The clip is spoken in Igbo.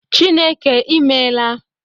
Chineke I meela